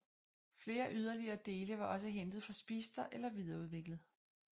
Flere yderligere dele var også hentet fra Speedster eller videreudviklet